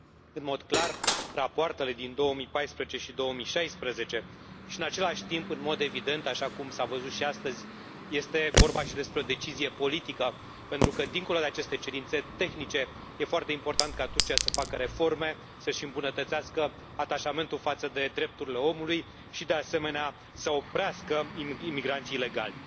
în mod clar rapoartele din 2014 și 2016 și, în același timp, în mod evident, așa cum s a văzut și astăzi, este vorba și despre o decizie politică pentru că, dincolo de aceste cerințe tehnice, este foarte important ca Turcia să facă reforme, să își îmbunătățească atașamentul față de drepturile omului și, de asemenea, să oprească imigranții ilegali.